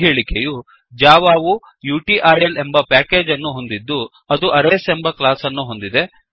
ಈ ಹೇಳಿಕೆಯು ಜಾವಾ ವು ಯುಟಿಲ್ ಎಂಬ ಪ್ಯಾಕೇಜ್ ಅನ್ನು ಹೊಂದಿದ್ದು ಅದು ಅರೇಸ್ ಎಂಬ ಕ್ಲಾಸ್ ಅನ್ನು ಹೊಂದಿದೆ